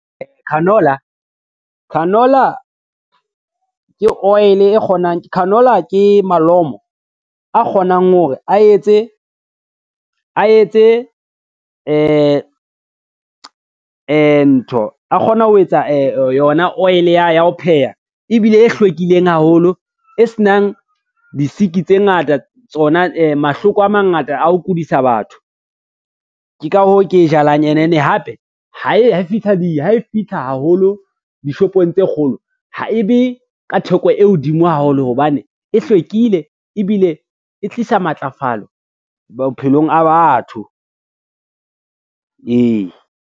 Canola ke malomo a kgonang hore a etse ntho a kgona ho etsa yona oil ya ho pheha ebile e hlwekileng haholo e senang di-sick tse ngata tsona mahloko a mangata a ho kodisa batho. Ke ka hoo ke jalang ene hape, ha e fitlha haholo dishopong tse kgolo ha ebe ka theko e hodimo haholo hobane e hlwekile, ebile e tlisa matlafalo bophelong a batho, ee.